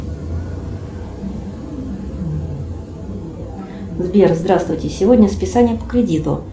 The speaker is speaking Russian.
сбер здравствуйте сегодня списание по кредиту